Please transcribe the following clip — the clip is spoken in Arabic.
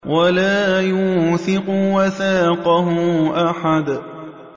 وَلَا يُوثِقُ وَثَاقَهُ أَحَدٌ